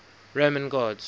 roman gods